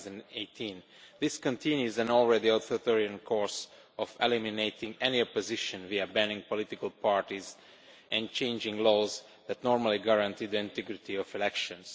2018. This continues an already authoritarian course of eliminating any opposition, via banning political parties and changing laws that normally guarantee the integrity of elections.